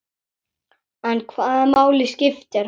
En hvaða máli skiptir hann?